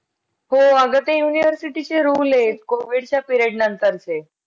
कांद्याची gravy gravy करायची आपलं gravy करायचं कांदा ते लाल करून आपलं chicken बिकन टाकायचं त्यामध्ये तसेच परतून घ्यायचं.